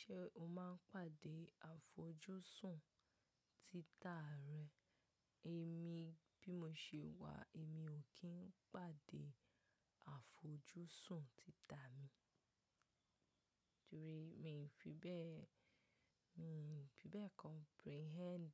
Ṣé o máa ń pàdé àfojúsùn títà rẹ? Èmi bí mo ṣe wà, èmi ò kí ń pàdé àfojúsùn títà mi. Torí mi n fi bẹ́ẹ̀, mi ò fi bẹ́ẹ̀ comprehend.